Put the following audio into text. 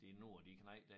De nu er de knejte der